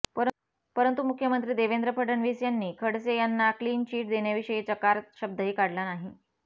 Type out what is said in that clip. परंतु मुख्यमंत्री देवेंद्र फडणवीस यांनी खडसे यांना क्लीन चीट देण्याविषयी चकार शब्दही काढला नाही